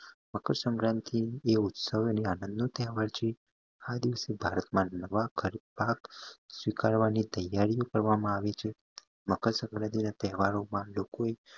મકર સંક્રાંતિ એ ઉત્સહવ અને આનંદ નો તહેવાર છે એ દિવસે ભારત માં સ્વીકારવાની તૈયારીઓ કરવામાં આવે છે મકર સંક્રાંતિ ના તહેવારો માં લોકો એ